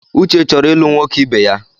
Uche chọrọ ịlụ nwoke ibeya.